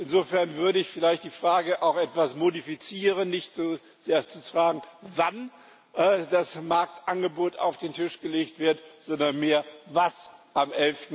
Insofern würde ich vielleicht die Frage auch etwas modifizieren und nicht so sehr fragen, wann das Marktangebot auf den Tisch gelegt wird, sondern vielmehr, was am